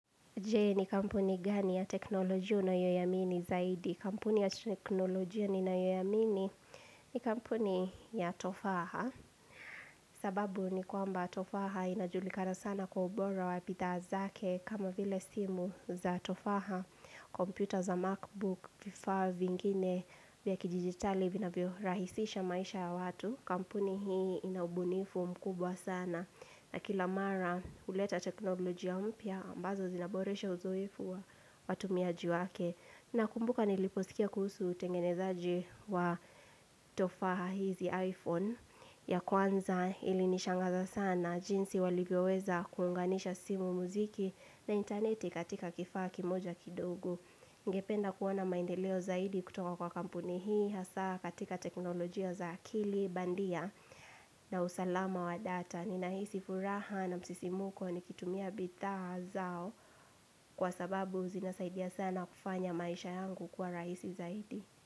Jee ni kampuni gani ya teknolojia una yoiamini zaidi. Kampuni ya teknolojia nina yoiamini ni kampuni ya tofaha. Sababu ni kwamba tofaha inajulikana sana kwa ubora wa bidhaa zake kama vile simu za tofaha. Kompyuta za markbook vifaa vingine vya kidijitali vina vyo rahisisha maisha ya watu. Kampuni hii inaubunifu mkubwa sana. Na kila mara uleta teknolojia mpya ambazo zinaboresha uzoefu wa watu miaji wake. Na kumbuka niliposikia kuhusu utengenezaji wa tofaha hizi iPhone ya kwanza ili nishangaza sana. Jinsi walivyoweza kuunganisha simu muziki na interneti katika kifaa ki moja kidogo. Ningependa kuona maendeleo zaidi kutoka kwa kampuni hii hasa katika teknolojia za akili bandia na usalama wa data. Ninaisi furaha na msisi muko ni kitumia bidhaa zao kwa sababu zina saidia sana kufanya maisha yangu kuwa raisi zaidi.